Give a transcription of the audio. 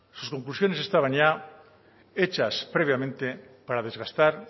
sus conclusiones estaban ya hechas previamente para desgastar